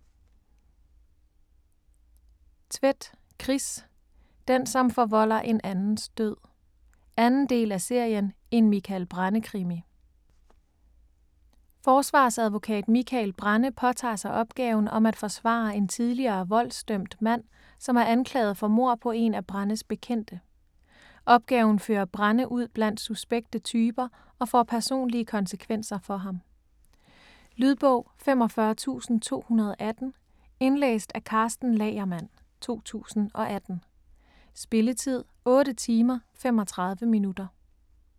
Tvedt, Chris: Den som forvolder en andens død 2. del af serien En Mikael Brenne-krimi. Forsvarsadvokat Mikael Brenne påtager sig opgaven om at forsvare en tidligere voldsdømt mand, som er anklaget for mord på en af Brennes bekendte. Opgaven fører Brenne ud blandt suspekte typer og får personlige konsekvenser for ham. Lydbog 45280 Indlæst af Karsten Lagermann, 2018. Spilletid: 8 timer, 35 minutter.